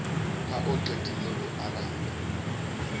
ha o qetile o arabe